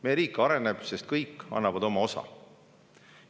Meie riik areneb, sest kõik annavad oma osa.